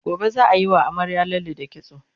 gobe zaa Yi wa amaryar lalle da kitso